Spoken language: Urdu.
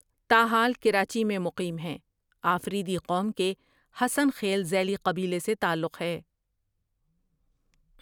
تا حال کراچی میں مقیم ہیں آفریدی قوم کے حسن خیل ذیلی قبیلہے سے تعلق ہے۔